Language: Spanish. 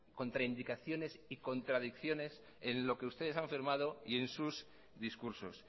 contraindicaciones y contradicciones en lo que ustedes han firmado y en sus discursos